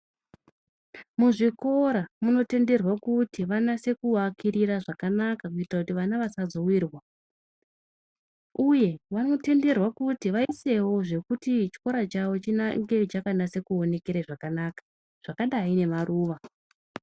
Muzvikora munotenderwe kuti vanase kuakirira zvakanaka kuita kuti vana vasazowirwa uye vanotenderwe kuti vaisewo zvekuti chikora chavo chiange chakanase kuonekera zvakanaka zvakadai nemaruwa.